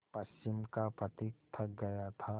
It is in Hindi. पश्चिम का पथिक थक गया था